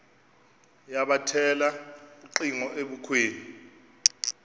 yabethela ucingo ebukhweni